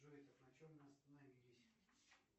джой на чем мы остановились